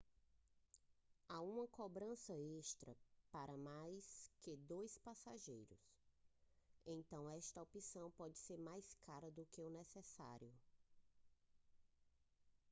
há uma cobrança extra para mais que 2 passageiros então esta opção pode ser mais cara do que o necessário